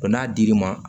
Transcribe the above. n'a dir'i ma